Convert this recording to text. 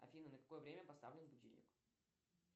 афина на какое время поставлен будильник